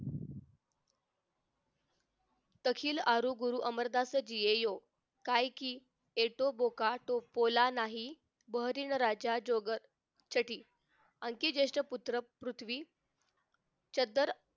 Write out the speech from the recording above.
टखील अमरगुरू अमरदास जियोयो काय कि येतो भोका टोपोला नाही बहरील राजा जोग सठी आणखीणजेष्ठ पुत्र पृथ्वी चददर